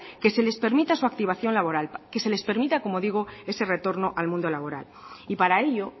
que se les permita su activación laboral que se les permita como digo ese retorno al mundo laboral y para ello